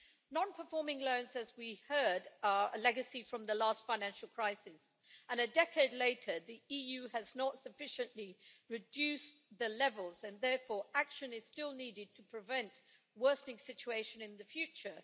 Non performing loans as we heard, are a legacy from the last financial crisis and a decade later, the EU has not sufficiently reduced the levels, and therefore action is still needed to prevent a worsening situation in the future.